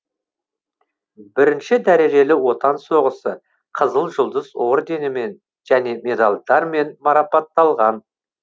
бірінші дәрежелі отан соғысы қызыл жұлдыз орденімен және медальдармен марапатталған